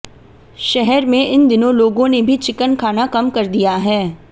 शहर में इन दिनों लोगों ने भी चिकन खाना कम कर दिया है